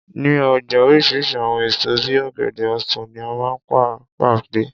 Ní ọjà oríṣiríṣi àwọn èso bí i ọ̀gẹ̀dẹ̀, ọsan ni a máa ń bá pàdé.